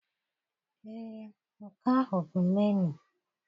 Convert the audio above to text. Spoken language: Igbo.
Ee, nke ahụ bụ menuu.